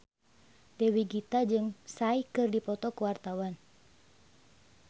Dewi Gita jeung Psy keur dipoto ku wartawan